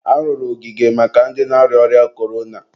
arụrụ ogige maka ndị na-arịa ọrịa korona.